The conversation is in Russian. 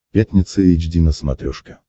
пятница эйч ди на смотрешке